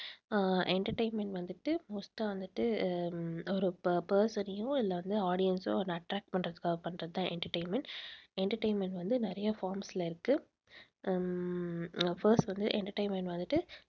அஹ் entertainment வந்துட்டு வந்துட்டு ah ஒரு person அயோ இல்லை வந்து audience ஓ வந்து attract பண்றதுக்காகப் பண்றதுதான் entertainment, entertainment வந்து நிறைய forms ல இருக்கு உம் first வந்து entertainment வந்துட்டு